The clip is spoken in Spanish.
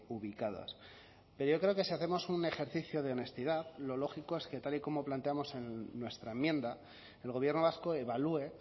ubicadas pero yo creo que sí hacemos un ejercicio de honestidad lo lógico es que tal y como planteamos en nuestra enmienda el gobierno vasco evalúe